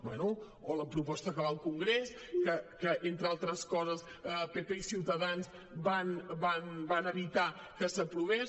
bé o la proposta que va al congrés que entre altres coses pp i ciutadans van evitar que s’aprovés